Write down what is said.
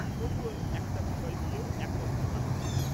তবুও একটা বিষয় নিয়েও একমত হতে পারেননা।